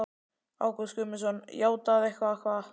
Ágúst Guðmundsson: Játað eitthvað hvað?